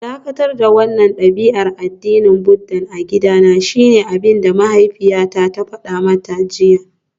Dakatar da wannan dabi'ar addinin Buddah a gidana shine abinda mahaifiyarta ta fada mata jiya